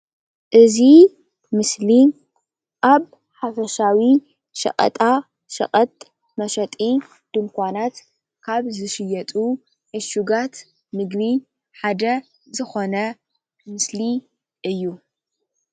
እዚ ምስሊ ኣብ ሓፈሻዊ ሸቐጣ ሸቐጥ መሸጢ ድንኳናት ካብ ዝሽየጡ ዕሹጋት ምግቢ ሓደ ዝኮነ ምስሊ እዩ፡፡